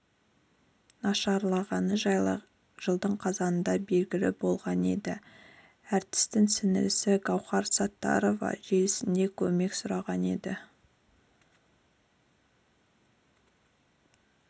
нашарлағаны жайлы жылдың қазанында белгілі болған еді әртістің сіңлісі гаухар саттарова желісінде көмек сұраған еді